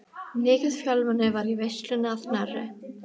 Mikið fjölmenni var í veislunni að Knerri.